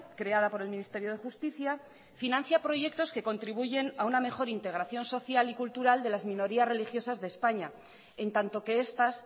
creada por el ministerio de justicia financia proyectos que contribuyen a una mejor integración social y cultural de las minorías religiosas de españa en tanto que estas